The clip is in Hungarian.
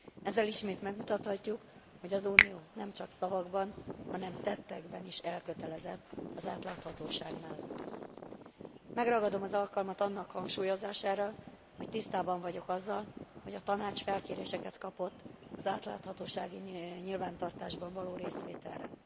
Ezzel ismét megmutathatjuk, hogy az Unió nem csak szavakban, hanem tettekben is elkötelezett az átláthatóság mellett. Megragadom az alkalmat annak hangsúlyozására, hogy tisztában vagyok azzal, hogy a Tanács felkéréseket kapott az átláthatósági nyilvántartásban való részvételre.